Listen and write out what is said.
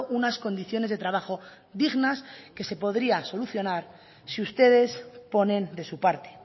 unas condiciones de trabajo dignas que se podría solucionar si ustedes ponen de su parte